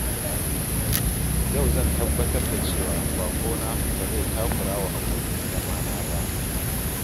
Yau zan tabbatar da cewa baƙona ba zai takura wa abokin zama na ba.